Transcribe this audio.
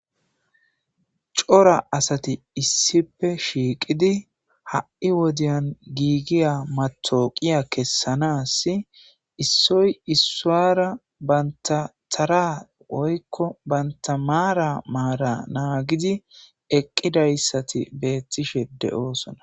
Cora asati issife shiiqidi ha7i wodiyan giigiya matooqiya kessanasi issoy issuwara banta tara oykko bantamaara maara naagidi eqqidayssati beettishe de7oosona.